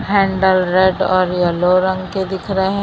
handle red और yellow रंग के दिख रहे--